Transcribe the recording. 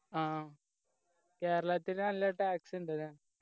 ആ കേരളത്തില് നല്ല tax ഇണ്ട്